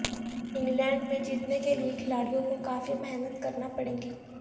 England میں جیتنے کے لیئے کھلاڑیوں کو کافی محنت کرنا پڑے گی